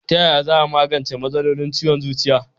Tayaya za a magance matsalolin ciwon zuciya?